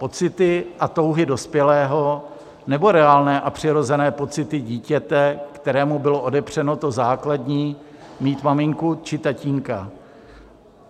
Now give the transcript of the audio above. Pocity a touhy dospělého, nebo reálné a přirozené pocity dítěte, kterému bylo odepřeno to základní, mít maminku či tatínka?